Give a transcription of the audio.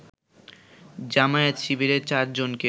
জামায়াত-শিবিরের ৪ জনকে